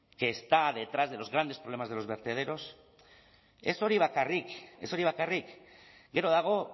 que están detrás de los grandes problemas de los vertederos ez hori bakarrik ez hori bakarrik gero dago